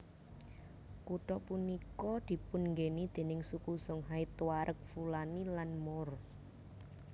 Kutha punika dipun nggeni déning suku Songhay Tuareg Fulani lan Moor